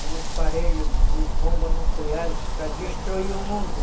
um aparelho de bombas nucleares para destruir o mundo.